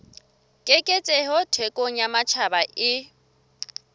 keketseho thekong ya matjhaba e